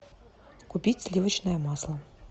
купить сливочное масло